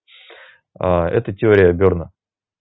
а это теория берна